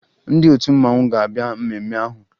Ndị otu mmanwụ ga-abịa mmemme ahụ